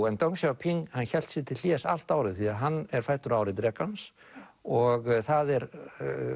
en deng Xiaoping hélt sig til hlés allt árið því að hann er fæddur á ári drekans og það er